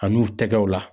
A n'u tɛgɛw la